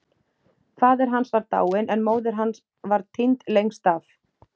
Faðir hans var dáinn en móðir hans var týnd lengst af.